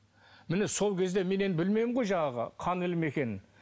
міне сол кезде мен енді білмеймін ғой жаңағы қан ілімі екенін